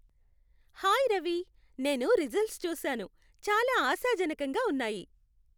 Hi Ravi, నేను results చూశాను, చాలా ఆశాజనకంగా ఉన్నాయి.